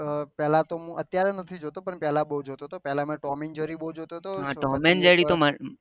પેહલા તો અત્યારે નથી જોતો પણ પેહલા બહુ જોતો હતો પેહલા તો ટોમ એન્ડ જેરી બહુ જોતો હતો